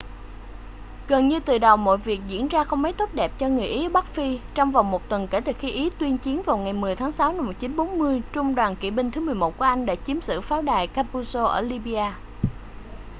gần như từ đầu mọi việc diễn ra không mấy tốt đẹp cho người ý ở bắc phi trong vòng một tuần kể từ khi ý tuyên chiến vào ngày 10 tháng 6 năm 1940 trung đoàn kỵ binh thứ 11 của anh đã chiếm giữ pháo đài capuzzo ở libya